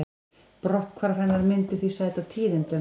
Brotthvarf hennar myndi því sæta tíðindum